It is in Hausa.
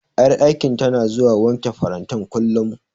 Ƴar aikin tana zuwa wanke farantan, kullum.